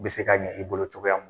Bɛ se ka ɲɛ i bolo mun.